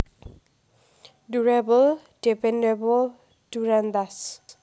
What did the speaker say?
Durable Dependable Durantas